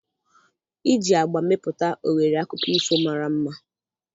Iji agba mepụta oghere akụkọ ifo mara mma